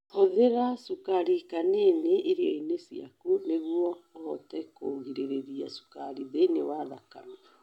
Hũthĩra cukari hanini irio-inĩ ciaku nĩguo ũhote kũgirĩrĩria cukari thĩinĩ wa thakame.